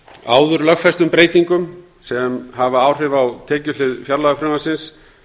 áður lögfestum breytingum sem hafa áhrif á tekjuhlið fjárlagafrumvarpsins